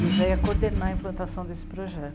E o Zé ia coordenar a implantação desse projeto.